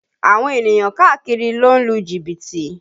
Àwọn ènìyàn káàkiri ló ń lu jìbìtì